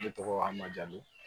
Ne tɔgɔ amadu